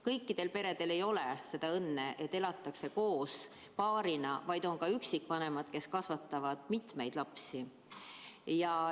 Kõikidel ei ole seda õnne, et elatakse koos paarina, on ka üksikvanemad, kes kasvatavad mitut last.